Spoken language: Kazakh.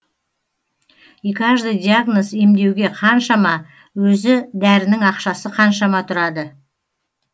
и каждый диагноз емдеуге қаншама өзі дәрінің ақшасы қаншама тұрады